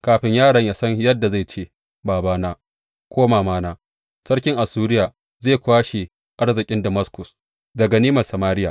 Kafin yaron yă san yadda zai ce Babana’ ko Mamana,’ sarkin Assuriya zai kwashe arzikin Damaskus da ganimar Samariya.